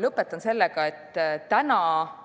Lõpetan sellega, et täna olid